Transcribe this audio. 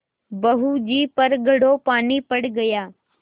बहू जी पर घड़ों पानी पड़ गया